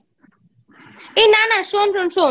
এই না না শোন শোন